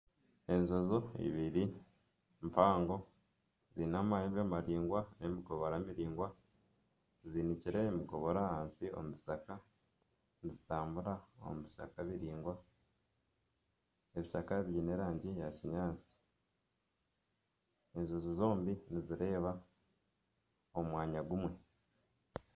Enjojo ibiri mpango ziine amahembe maraingwa n'emikoboora miraingwa, zinikire emikoboora ahansi omu kishaka nizitambura omu bishaka biraingwa, ebishaka biine erangi ya kinyaatsi, enjojo zombi nizireeba omu mwanya gumwe.